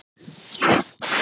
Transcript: Nú var hann að skila því.